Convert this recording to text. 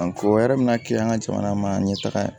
o yɛrɛ mina kilan an ka jamana ma ɲɛ taga